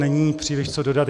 Není příliš co dodat.